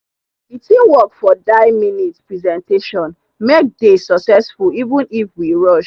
the teamwork for dye minute presentation make dey successful even if we rush.